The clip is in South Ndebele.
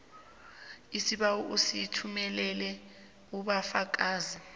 sibawa usithumelele ubufakazelo